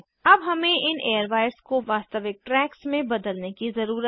अब हमें इन एयरवायर्स को वास्तविक ट्रैक्स में बदलने की ज़रुरत है